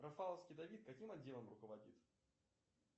рафаловский давид каким отделом руководит